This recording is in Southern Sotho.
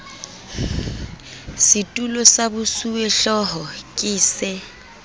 setulo sa bosuwehlooho ke se